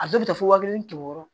A dɔw bɛ taa fo wa kelen wɔɔrɔ